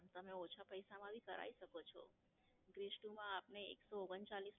તમે ઓછા પૈસા માં ભી કરાવી શકો છો. Bress two માં આપને એકસો ઓગણચાલીસ